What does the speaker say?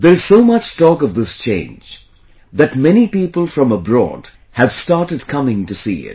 There is so much talk of this change, that many people from abroad have started coming to see it